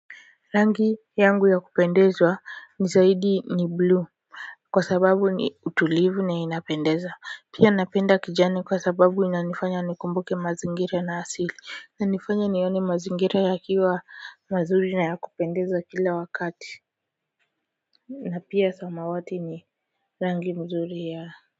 Rangi yangu ya kupendeza zaidi ni bluu kwa sababu ni tulivu na inapendeza. Pia napenda kijani kwa sababu inanifanya nikumbuke mazingira na asili. Inanifanya nione mazingira yakiwa mazuri na ya kupendeza kila wakati na pia samawati ni rangi nzuri ya.